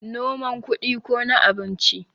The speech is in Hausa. noman kudi ko na abinci?